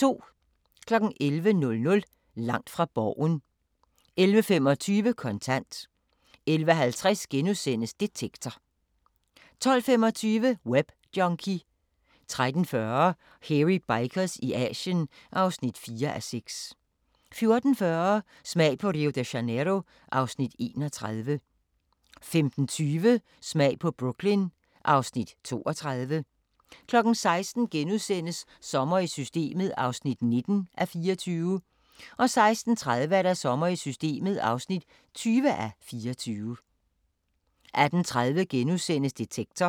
11:00: Langt fra Borgen 11:25: Kontant 11:50: Detektor * 12:25: Webjunkie 13:40: Hairy Bikers i Asien (4:6) 14:40: Smag på Rio de Janeiro (Afs. 31) 15:20: Smag på Brooklyn (Afs. 32) 16:00: Sommer i Systemet (19:24)* 16:30: Sommer i Systemet (20:24) 18:30: Detektor *